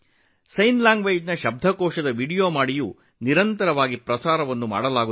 ಸಂಜ್ಞೆ ಭಾಷೆಯ ನಿಘಂಟಿನ ವೀಡಿಯೋಗಳನ್ನು ಮಾಡುವ ಮೂಲಕವೂ ಅದನ್ನು ಮತ್ತಷ್ಟು ಪ್ರಸಾರ ಮಾಡಲಾಗುತ್ತಿದೆ